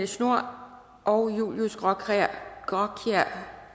schnoor og julius graakjær